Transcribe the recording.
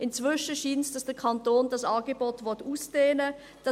Inzwischen scheint es, dass der Kanton dieses Angebot ausdehnen will.